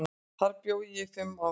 Þar bjó ég í fimm ár.